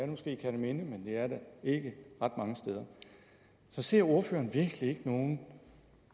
måske i kerteminde men det er det ikke ret mange steder så ser ordføreren virkelig ikke nogen